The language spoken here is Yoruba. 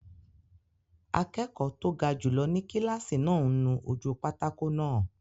Akẹ́kọ̀ọ́ tó ga jùlọ ni kílásì náà ń nu ojú pátákó náà